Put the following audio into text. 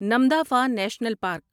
Namdapha national park